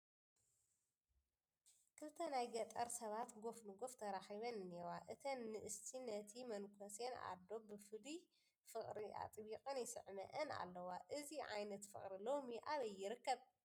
ክልተ ናይ ገጠር ሰባት ጐፍ ንጐፍ ትራኺበን እኔዋ፡፡ እተን ንእስቲ ነቲ መነኮስ ኣዶ ብፍሉይ ፍቕሪ ኣጥቢቐን ይስዕመኣን ኣለዋ፡፡ እዚ ዓይነት ፍቕሪ ሎሚ ኣበይ ይርከብ?